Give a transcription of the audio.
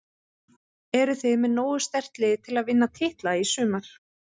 Eruð þið með nógu sterkt lið til að vinna titla í sumar?